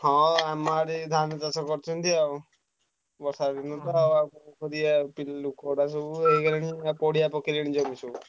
ହଁ ଆମ ଆଡେ ଧାନ ଚାଷ କରିଛନ୍ତି ଆଉ ବର୍ଷାଦିନ ତ ଆଉ କଣ କରିଆ ଆଉ ଲୋକଗୁଡାକ ତ ହେଇଗଲେଣି ପଡିଆ ପକେଇଲେଣି ବିଲ ଯାକ ସବୁ।